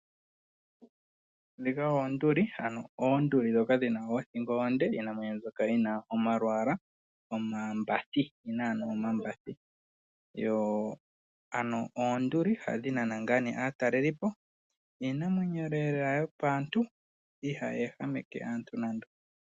Oonduli ndhoka dhi na oothingo oonde. Iinamwenyo mbyoka yi na omalwaala, omambathi. Oyi na ano omambathi. Oonduli ohadhi nana aatalelipo. Iinamwenyo yopaantu, ihayi ehameke aantu nando.